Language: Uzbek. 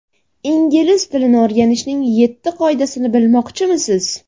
Ingliz tilini o‘rganishning yetti qoidasini bilmoqchimisiz?.